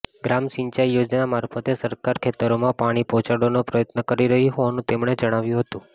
ગ્રામ સિંચાઈ યોજના મારફતે સરકાર ખેતરોમાં પાણી પહોંચાડવાનો પ્રયત્ન કરી રહી હોવાનું તેમણે જણાવ્યું હતું